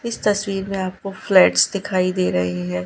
इस तस्वीर में आपको फ्लैट्स दिखाई दे रहे हैं।